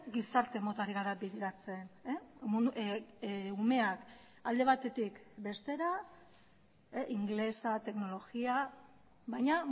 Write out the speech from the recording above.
gizarte mota ari gara bideratzen umeak alde batetik bestera ingelesa teknologia baina